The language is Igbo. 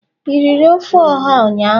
i riri ofe oha ụnyahụ?